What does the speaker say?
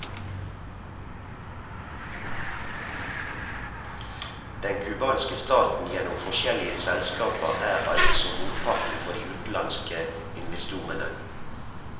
Den cubanske staten gjennom forskjellige selskaper er altså motparten for de utenlandske investorene.